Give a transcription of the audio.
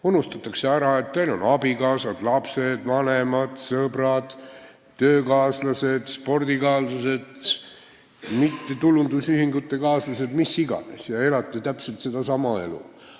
Unustatakse ära, et teil on abikaasad, lapsed, vanemad, sõbrad, töökaaslased, trennikaaslased, kaaslased mittetulundusühingutes ja mis iganes ning te elate täpselt sedasama elu mis teised.